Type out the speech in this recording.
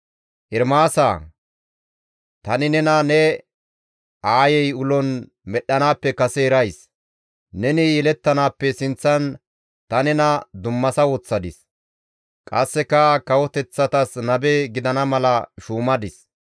«Ermaasa! Tani nena ne aayey ulon medhdhanaappe kase erays. Neni yelettanaappe sinththan ta nena dummasa woththadis. Qasseka kawoteththatas nabe gidana mala shuumadis.»